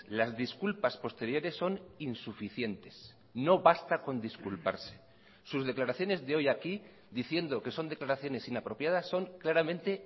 las disculpas posteriores son insuficientes no basta con disculparse sus declaraciones de hoy aquí diciendo que son declaraciones inapropiadas son claramente